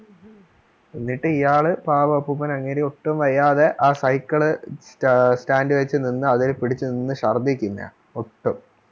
എന്നിട്ടു ഈയാളു പാവം അപ്പൂപ്പൻ അങ്ങേര് ഒട്ടും വയ്യാതെ ആ cycle സ്റ്റാൻഡിൽ വെച്ചു നിന്ന് അതേൽ പിടിച്ചു നിന്ന് ശർദിക്കുന്ന ഒട്ടും